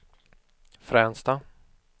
Fränsta